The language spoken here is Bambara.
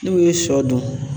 N'u ye sɔ dun